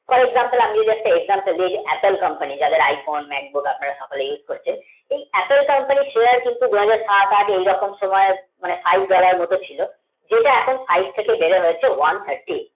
যেমন একটা example দিয় apple company তে যাদের aai phone আর আপনারা সবাই ous করছেন এই apple company নির share কিন্তু দুহাজার সাত আট এরকম সময় মানে five dollar আর মতো ছিল যেটা এখন five থেকে হচ্ছে one tharti eight হয়েছে